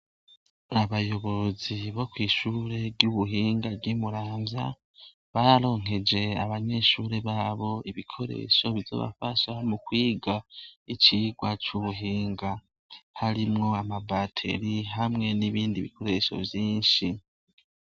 Abayobozi bo kw'ishure ry'ubuhinga ry'imuranza bararonkeje abanyeshure babo ibikoresho bizobafasha mu kwiga icirwa c'ubuhinga harimwo amabateri hamwe n'ibindi bikoresho vyinshi.